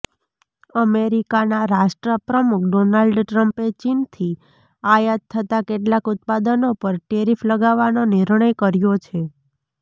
અમેરિકાના રાષ્ટ્રપ્રમુખ ડોનાલ્ડ ટ્રમ્પે ચીનથી આયાત થતા કેટલાક ઉત્પાદનો પર ટેરિફ લગાવવાનો નિર્ણય કર્યો છે